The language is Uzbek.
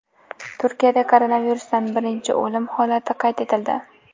Turkiyada koronavirusdan birinchi o‘lim holati qayd etildi.